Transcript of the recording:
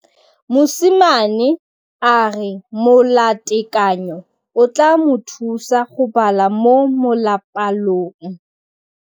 Mosimane a re molatekanyô o tla mo thusa go bala mo molapalong.